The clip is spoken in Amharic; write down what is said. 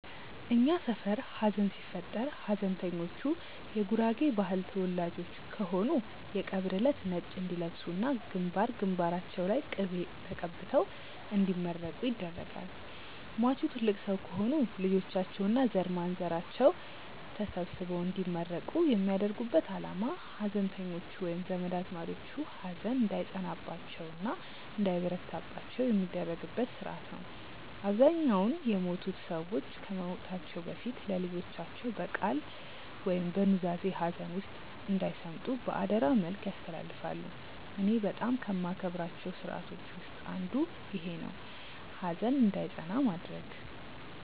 እኛ ሰፈር ሀዘን ሲፈጠር ሀዘንተኞቹ የጉራጌ ባህል ተወላጆች ከሆኑ የቀብር እለት ነጭ እንዲለብሱ እና ግንባር ግንባራቸው ላይ ቅቤ ተቀብተው እንዲመረቁ ይደረጋል። ሟቹ ትልቅ ሰው ከሆኑ ልጆቻቸው እና ዘርማንዘራቸው ተሰብስበው እንዲመረቁ የሚያደርጉበት አላማ ሀዘንተኞቹ ወይም ዘመድ አዝማዶቹ ሀዘን እንዳይጸናባቸው እና እንዳይበረታባቸው የሚደረግበት ስርአት ነው። አብዛኛውን የሞቱት ሰዎች ከመሞታቸው በፊት ለልጆቻቸው በቃል ወይም በኑዛዜ ሀዘን ውስጥ እንዳይሰምጡ በአደራ መልክ ያስተላልፋሉ። እኔ በጣም ከማከብራቸው ስርአቶች ውስጥ አንዱ ይኼ ነው፣ ሀዘን እንዳይጸና ማድረግ።